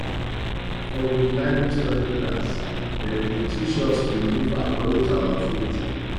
for we bible study class dem dey teach us to live according to our faith